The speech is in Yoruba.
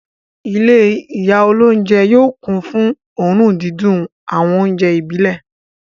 Ilé ìyá olóúnjẹ yóò kún fún òórùn dídùn àwọn oúnjẹ ìbílẹ̀.